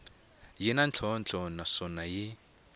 yi na ntlhontlho naswona yi